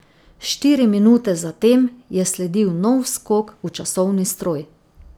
Štiri minute zatem je sledil nov skok v časovni stroj.